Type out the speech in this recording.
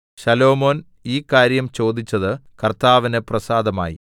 ശലോമോൻ ഈ കാര്യം ചോദിച്ചത് കർത്താവിന് പ്രസാദമായി